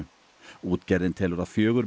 útgerðin telur að fjögur